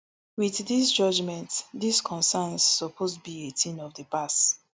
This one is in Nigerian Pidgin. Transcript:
with dis judgement dis concerns suppose be a tin of di past